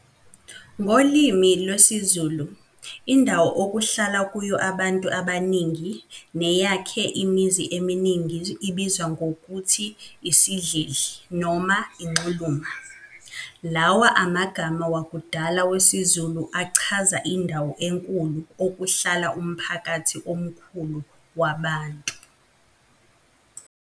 Ngolimi lwesiZulu, indawo okuhlala kuyo abantu abaningi, neyakhe imizi eminingi ibizwa ngokuthi "isidlidli" noma 'inxuluma. Lawa amagama wakudala wesizulu achaza indawo enkulu okuhlala umphakathi omkhulu wabantu.